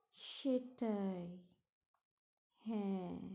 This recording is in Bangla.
সেটাই হ্যাঁ